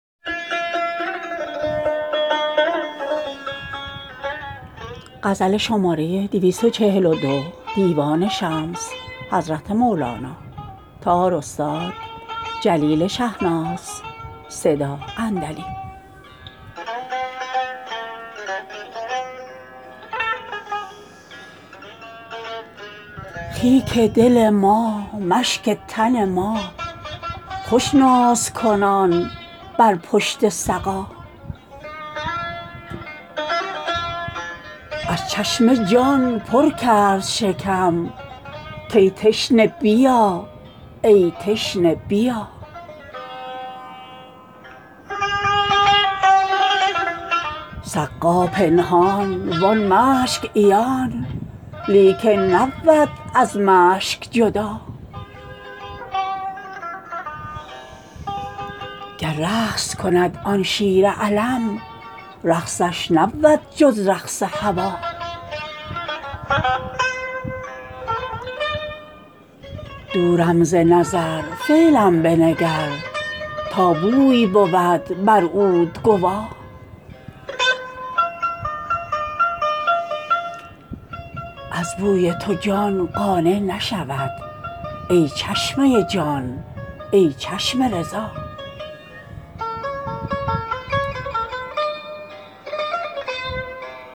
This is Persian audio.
خیک دل ما مشک تن ما خوش نازکنان بر پشت سقا از چشمه جان پر کرد شکم کای تشنه بیا ای تشنه بیا سقا پنهان وان مشک عیان لیکن نبود از مشک جدا گر رقص کند آن شیر علم رقصش نبود جز رقص هوا دورم ز نظر فعلم بنگر تا بوی بود بر عود گوا از بوی تو جان قانع نشود ای چشمه جان ای چشم رضا